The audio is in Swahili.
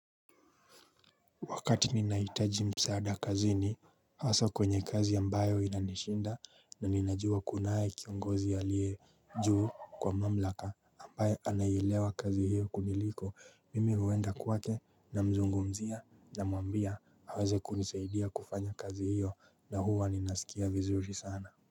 Wakati ninahitaji msaada kazini haswa kwenye kazi ambayo inanishinda na ninajua kunaye kiongozi aliiye juu kwa mamlaka ambayo anaielewa kazi hiyo kuniliko mimi huenda kwake na mzungumzia na muambia hawaze kunisaidia kufanya kazi hiyo na huwa ninasikia vizuri sana.